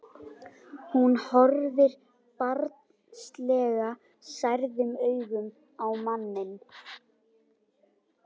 Hún horfir barnslega særðum augum á manninn.